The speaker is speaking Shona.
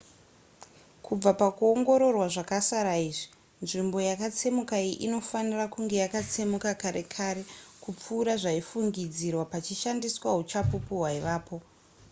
kubva pakuongororwa zvakasara izvi nzvimbo yakatsemuka iyi inofanira kunge yakatsemuka kare kare kupfuura zvaifungidzirwa pachishandiswa uchapupu hwaivapo